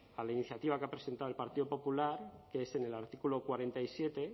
a la iniciativa que ha presentado el partido popular que es en el artículo cuarenta y siete